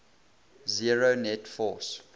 zero net force